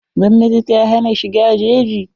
Gwmnati ta hana shiga jeji.